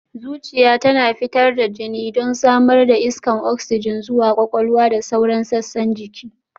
Zuciya tana fitar da jini don samar da iskar oksijin zuwa kwakwalwa da sauran sassan jiki